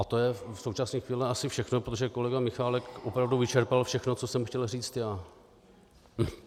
A to je v současné chvíli asi všechno, protože kolega Michálek opravdu vyčerpal všechno, co jsem chtěl říct já.